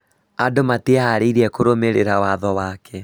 Andũ matiĩharĩrĩirie kũrũmĩrĩra watho wake